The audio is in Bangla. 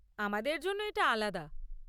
আমাদের জন্য এটা আলাদা!